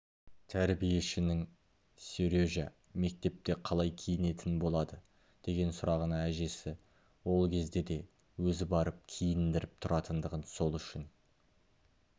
тәрбиешінің сережа мектепте қалай киінетін болады деген сұрағына әжесі ол кезде де өзі барып киіндіріп тұратындығын сол үшін